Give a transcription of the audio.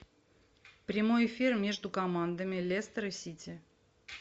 прямой эфир между командами лестер и сити